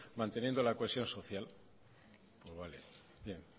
manteniendo la cohesión social pues vale bien